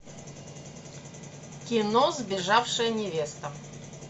кино сбежавшая невеста